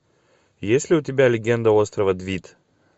есть ли у тебя легенда острова двид